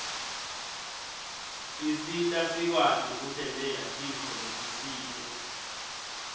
isita sikwati kutentela tintfo letisite